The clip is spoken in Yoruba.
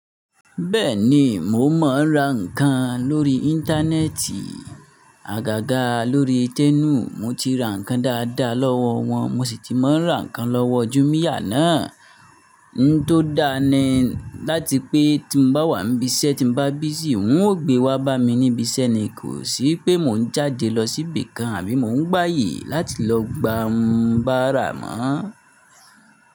Bẹ́ẹ̀ni, mo máa ń ra ǹkan lórí Íńtánẹ́ẹ̀tì. Àgàgà lórí Tẹ́mu, mo ti ra ǹkan dáadáa lọ́wọ́ wọn, mo ṣì ti máa ń ra ǹkan lọ́wọ́ Jumia náà. N tó dáa ni láti pé tí n bá wà níbi iṣẹ́ tí n bá busy, wọn ò gbé wá bá mi níbi iṣẹ́ ni, kò sí pé mò ń jáde lọ síbì kan àbí mò ń gbaàyè láti lọ gba n bárà mọ́.